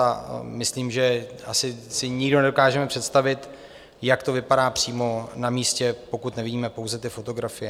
A myslím, že asi si nikdo nedokážeme představit, jak to vypadá přímo na místě, pokud nevidíme pouze ty fotografie.